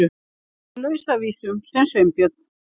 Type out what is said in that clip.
Í Lausavísum sem Sveinbjörn